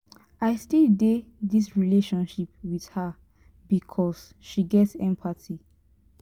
i still dey dis relationship wit her because she get empathy.